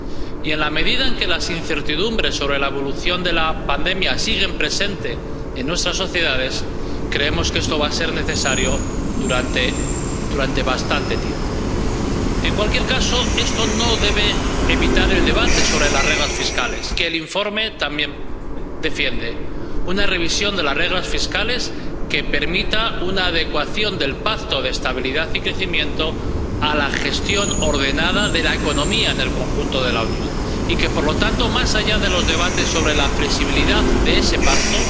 Y, en la medida en que las incertidumbres sobre la evolución de la pandemia siguen presentes en nuestras sociedades, creemos que esto va a ser necesario durante bastante tiempo. En cualquier caso, esto no debe evitar el debate sobre las reglas fiscales que el informe también defiende una revisión de las reglas fiscales que permita una adecuación del Pacto de Estabilidad y Crecimiento a la gestión ordenada de la economía en el conjunto de la Unión. Y, por lo tanto, más allá de los debates sobre la flexibilidad de ese Pacto,